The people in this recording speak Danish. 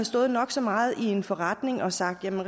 stået nok så meget i en forretning og sagt at der